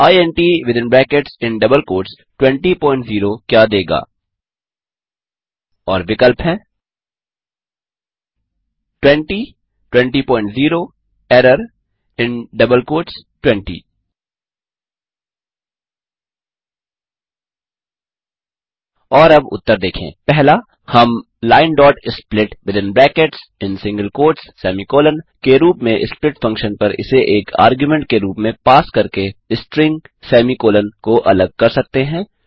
3int200 क्या देगा और विकल्प हैं 200 एरर 20 और अब उत्तर देखें 1हम linesplit के रूप में स्प्लिट फंक्शन पर इसे एक आर्गुमेंट के रूप में पास करके स्ट्रिंग सेमी कॉलन को अलग कर सकते हैं